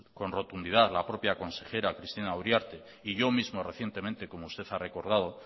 con rotundidad la propia consejera cristina uriarte y yo mismo recientemente como usted ha recordado